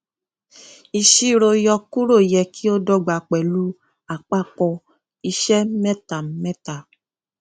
ìṣirò yọkúrò yẹ kí ó dọgba pẹlú àpapọ iṣẹ mẹta mẹta